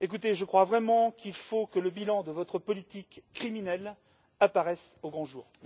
Je crois vraiment qu'il faut que le bilan de votre politique criminelle apparaisse au grand jour.